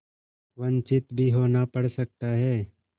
वंचित भी होना पड़ सकता है